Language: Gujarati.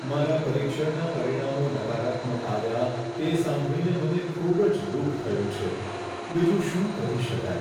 મારા પરીક્ષણના પરિણામો નકારાત્મક આવ્યા તે સાંભળીને મને ખૂબ જ દુઃખ થયું છે. બીજું શું કરી શકાય?